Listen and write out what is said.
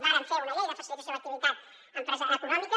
vàrem fer una llei de facilitació de l’activitat econòmica